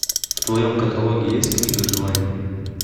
в твоем каталоге есть книга желаний